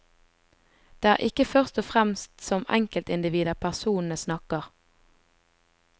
Det er ikke først og fremst som enkeltindivider personene snakker.